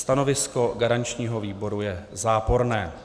Stanovisko garančního výboru je záporné.